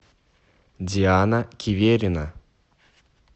диана киверина